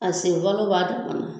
A sen falo b'a damana